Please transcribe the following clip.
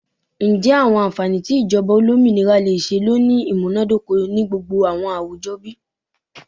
Njẹ awọn anfani ti ijọba olominira le ṣee lo ni imunadoko ni gbogbo awọn awujọ bi?